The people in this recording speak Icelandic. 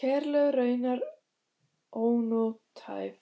Kerlaug raunar ónothæf